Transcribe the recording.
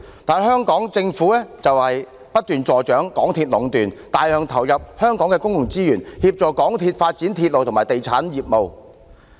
不過，香港政府卻不斷助長港鐵公司壟斷，大量投入香港的公共資源，協助港鐵公司發展鐵路和地產業務。